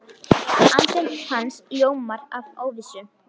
Andlit hans ljómar af óvissu.